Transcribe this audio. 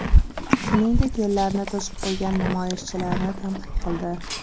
Shuningdek, yo‘llarni to‘sib qo‘ygan namoyishchilarni tanqid qildi.